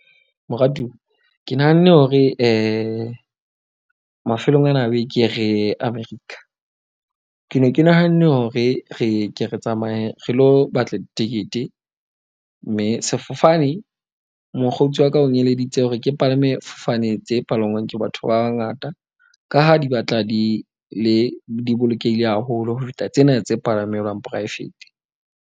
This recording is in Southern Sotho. Moratuwa ke nahanne hore mafelong ana a beke re ye America. Ke ne ke nahanne hore re ke re tsamaye re lo batla ditekete. Mme sefofane, mokgotsi wa ka ong eleditse hore ke palame fofane tse palangwang ke batho ba bangata. Ka ha di batla di le di bolokehile haholo ho feta tsena tse palamelwang poraefete.